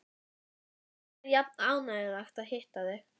Alltaf er jafn ánægjulegt að hitta þig.